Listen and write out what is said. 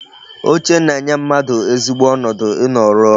Oche na-enye mmadụ ezigbo ọnọdụ ị nọ rụọ ọrụ